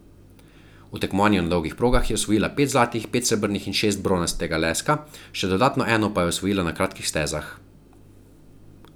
V tekmovanju na dolgih progah je osvojila pet zlatih, pet srebrnih in šest bronastega leska, še dodatno eno pa je osvojila na kratkih stezah.